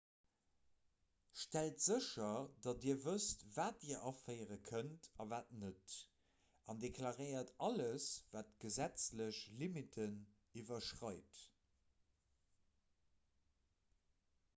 stellt sécher datt dir wësst wat dir aféiere kënnt a wat net an deklaréiert alles wat d'gesetzlech limitten iwwerschreit